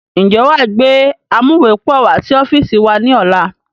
Ń jẹ́ wá gbé amuwepọ̀ wá sí ọ́fíìsì wá ní ọ̀la?